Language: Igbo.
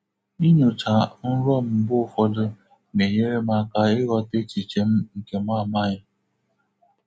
Inyocha nrọ m mgbe ụfọdụ na-enyere m aka ịghọta echiche m nke mụ amaghị.